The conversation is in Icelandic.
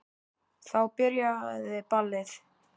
Þá byrjaði ballið.